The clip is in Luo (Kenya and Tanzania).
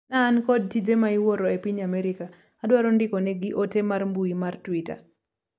na an kod tije ma iwuoro e piny Amerika adwaro ndikonegi ote mar mbui mar twita